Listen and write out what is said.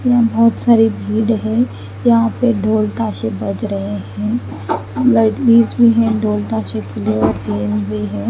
बहत सरे भीड़ है यहाँ पे ढोल तसे बज रहे है ।